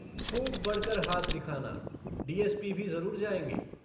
खूब बढकर हाथ दिखाना डीएसपी भी जरूर जायेंगे।